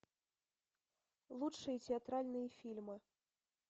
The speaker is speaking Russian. лучшие театральные фильмы